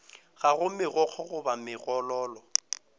ga go megokgo goba megololo